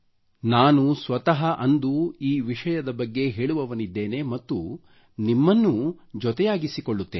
ನಾನು ಸ್ವತಃ ಅಂದು ಈ ವಿಷಯದ ಬಗ್ಗೆ ಹೇಳುವವನಿದ್ದೇನೆ ಮತ್ತು ನಿಮ್ಮನ್ನೂ ಇದರೊಂದಿಗೆ ಬೆರೆಸುತ್ತೇನೆ